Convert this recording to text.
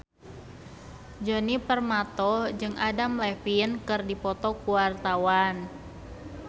Djoni Permato jeung Adam Levine keur dipoto ku wartawan